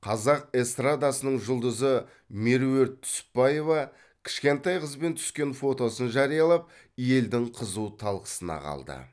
қазақ эстрадасының жұлдызы меруерт түсіпбаева кішкентай қызбен түскен фотосын жариялап елдің қызу талқысына қалды